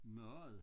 Mad